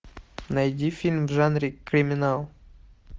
найди фильм в жанре криминал